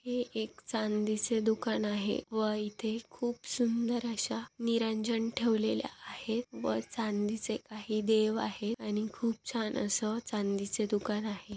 हे एक चांदीचे दुकान आहे व इथे खूप सुंदर अशा निरंजन ठेवलेल्या आहेत व चांदीचे काही देव आहेत आणि खूप छान अस चांदीच दुकान आहे.